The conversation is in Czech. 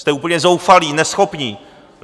Jste úplně zoufalí, neschopní.